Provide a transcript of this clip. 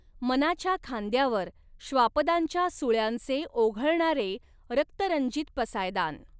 मनाच्या खांद्यावर श्वापदांच्या सुळ्यांचे ओघळणारे रक्तरंजीत पसायदान